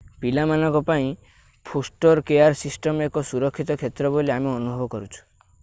ପିଲାମାନଙ୍କ ପାଇଁ foster care system ଏକ ସୁରକ୍ଷିତ କ୍ଷେତ୍ର ବୋଲି ଆମେ ଅନୁଭବ କରୁଛୁ